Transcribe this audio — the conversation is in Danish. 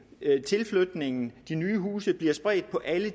tilflytningen og de nye huse bliver spredt på alle